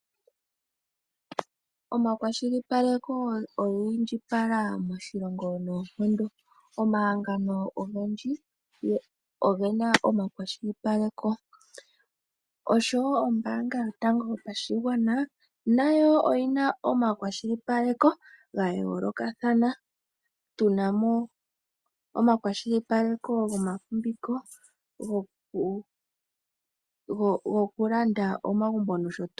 Omahangano gomakwashilipaleko ogeli ogendji moNamibia nombaanga yotango yopashingwana nayo oyina omakwashilipaleko gayolokathana tunamo okwashilipaleko gomafumbiko nogo kulanda omagumbo nosho tuu.